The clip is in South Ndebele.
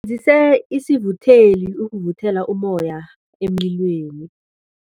Sisebenzise isivutheli ukuvuthela ummoya emlilweni.